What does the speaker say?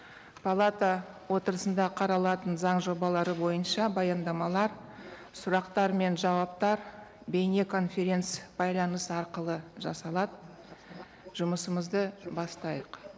палата отырысында қаралатын заң жобалары бойынша баяндамалар сұрақтар мен жауаптар бейнеконференц байланыс арқылы жасалады жұмысымызды бастайық